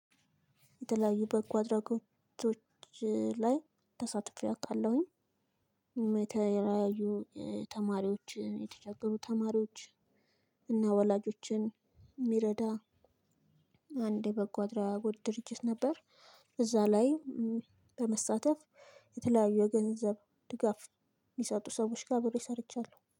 የተለያዩ በጎ አድራጎቶች ላይ ተሳትፌ አውቃለሁኝ። የተለያዩ ተማሪዎችን የተቸገሩ ተማሪዎች እና ወላጆችን የሚረዳ አንድ የበጎ አድራጎት ድርጅት ነበር። እዛ ላይ በመሳተፍ የተለያዩ የገንዘብ ድጋፍ የሚሰጡ ሰዎች ጋር ብሎ ሰርቻለሁ